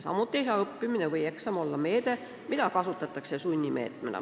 Samuti ei saa õppimine ja eksam olla meede, mida kasutatakse sunnivahendina.